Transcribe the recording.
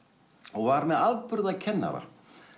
og var með afburðakennara